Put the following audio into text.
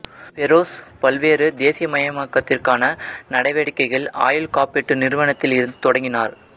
ஃபெரோஸ் பல்வேறு தேசியமயமாக்கத்திற்கான நடவடிக்கைகளை ஆயுள் காப்பீட்டு நிறுவனத்தில் இருந்து தொடங்கினார்